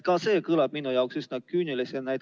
See kõlab minu jaoks üsna küünilisena.